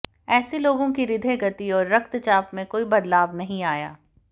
ऐसे लोगों की हृदय गति और रक्तचाप में कोई बदलाव नहीं आया